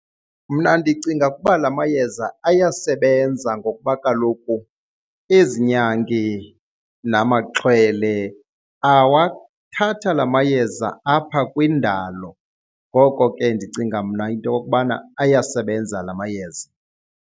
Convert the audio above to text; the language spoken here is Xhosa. Mna ndicinga ukuba la mayeza ayasebenza ngokuba kaloku ezi nyangi namaxhwele awathatha la mayeza apha kwindalo. Ngoko ke ndicinga mna into yokubana ayasebenza la mayeza.